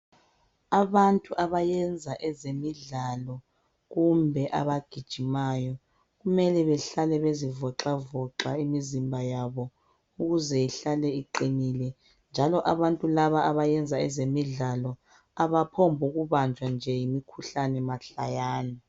Abantu abayenza ezemidlalo kumbe abagijimayo kumele behlale bezivoxavoxa imizimba yabo ukuze ihlale iqinile njalo abantu laba abenza ezemidlalo abaphongubanjwa nje yimikhuhlane mahlayana.